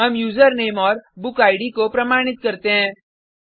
हम यूजरनेम और बुक इद को प्रमाणित करते हैं